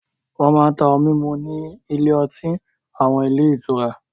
Wọ́n máa ń ta ohun mímu ní ilé-ọtí àwọn ilé-ìtura.